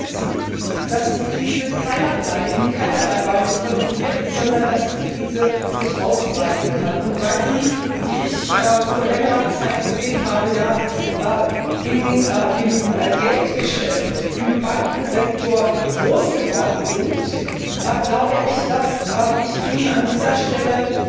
Aber Sie wissen, dass die Krise in keinerlei Weise kontrolliert ist, sondern dass die Krise sich ausbreiten kann. Und weil Sie wie ich vor längerer Zeit gesehen habe in dem Geldgeschäft, im Bankensektor groß geworden sind, glaube ich, dass ich Ihnen an dieser Stelle